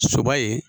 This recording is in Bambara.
Soba ye